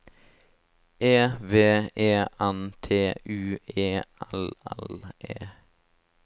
E V E N T U E L L E